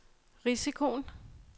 risikoen